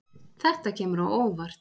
Þetta kemur á óvart